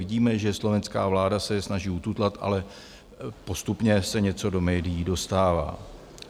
Vidíme, že slovenská vláda se je snaží ututlat, ale postupně se něco do médií dostává.